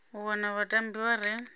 u wana vhatambi vha re